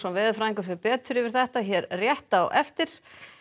veðurfræðingur fer betur yfir þetta hér rétt á eftir